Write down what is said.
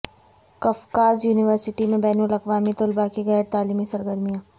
قفقاز university میں بین الاقوامی طلبا کی غیر تعلیمی سرگرمیاں